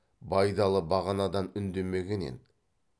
байдалы бағанадан үндемеген еді